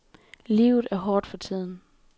Livet er hårdt for tiden.